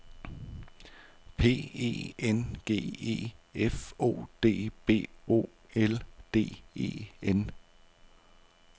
P E N G E F O D B O L D E N